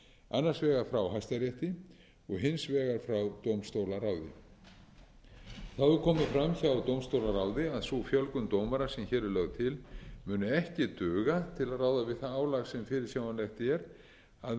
annars vegar frá hæstarétti og hins vegar frá dómstólaráði það hefur komið fram hjá dómstólaráði að sú fjölgun dómara sem hér er lögð til muni ekki duga til að ráða við það álag sem fyrirsjáanlegt er að